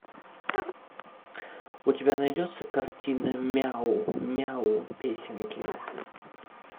у тебя найдется картина мяу мяу песенки